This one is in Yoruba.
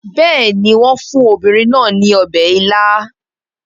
Bẹ́ẹ̀ ni, wọ́n fún obìnrin náà ní ọbẹ̀ ila